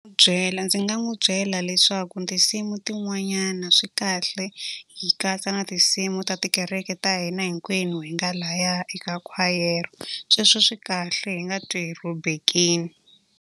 byela ndzi nga n'wi byela leswaku tinsimu tin'wanyana swi kahle hi katsa na tinsimu ta tikereke ta hina hinkwenu hi nga lahaya eka khwayere. Sweswo swi kahle hi nga twi hi rhobekile.